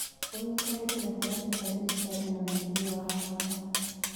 ũnyitanĩri gatagatĩ ka thirikari na mũingĩ nĩ wa bata.